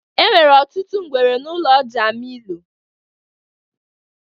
Enwere ọtụtụ ngwere na ụlọ jamilu.